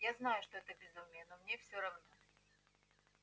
я знаю что это безумие но мне все равно